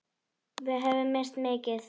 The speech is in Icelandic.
Við höfum misst mikið.